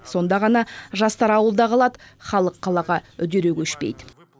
сонда ғана жастар ауылда қалады халық қалаға үдере көшпейді